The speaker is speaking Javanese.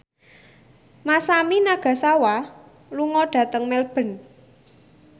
Masami Nagasawa lunga dhateng Melbourne